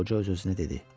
Qoca öz-özünə dedi.